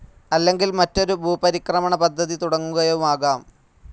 അല്ലെങ്കിൽ മറ്റൊരു ഭൂപരിക്രമണ പദ്ധതി തുടങ്ങുകയുമാകാം.